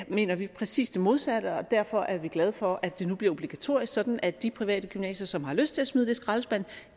mener vi præcis det modsatte og derfor er vi glade for at det nu bliver obligatorisk sådan at de private gymnasier som har lyst til at smide det i skraldespanden